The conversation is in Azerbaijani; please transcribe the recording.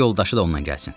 Qoy yoldaşı da onnan gəlsin.